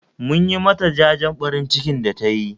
Mun yi ma ta jajen ɓarin ciki da tayi